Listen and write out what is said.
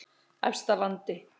Efstalandi